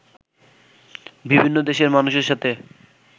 বিভিন্ন দেশের মানুষের সাথে